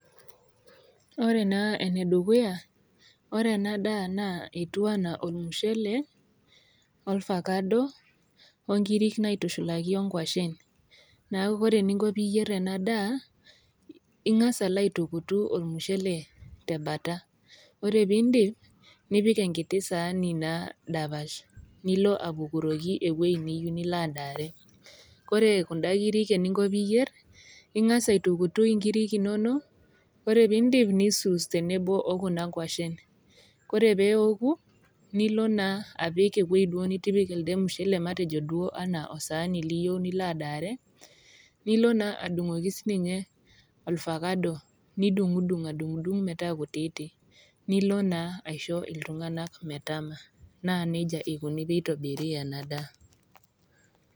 Ore naa ene dukuya, ore ena daa naa etiu anaa ormushele, olvacado, o inkiri naitushulaki o nkwashen, neaku ore eninko pee iyier ena daa, ing'as alo aitukutu ormushele te bata, ore pee indip, nipik enkiti saani naa dapash nilo apukuroki ewueji niyou nilo adaare, Kore kunda kirik eninko pee iyier, ing'as aitukutu inkirik inono, ore pee indip, nisuus penebo o kina kwashen, ore pee eoku, nilo naa apik ewueji nitipika elde mushele matejo duo anaa osaani liyou nilo adaare, nilo naa adung'oki siininye olvacado, nidung'dung' adung'dung metaa kutiti nilo naa aisho iltung'ana metaa, naa neija eikuni pee eitobiri ena daa.